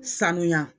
Sanuya